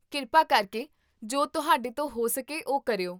ਕਿਰਪਾ ਕਰਕੇ ਜੋ ਤੁਹਾਡੇ ਤੋਂ ਹੋ ਸਕੇ ਉਹ ਕਰਿਓ